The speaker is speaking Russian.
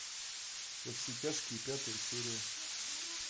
во все тяжкие пятая серия